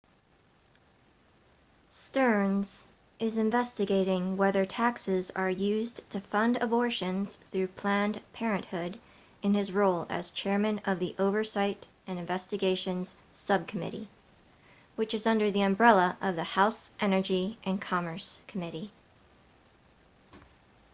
stearns is investigating whether taxes are used to fund abortions through planned parenthood in his role as chairman of the oversight and investigations subcommittee which is under the umbrella of the house energy and commerce committee